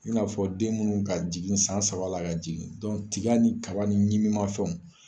Ina fɔ den munnu ka jigin san sabala ka jigin, tiga ni kaba nin ɲimiman fɛnw.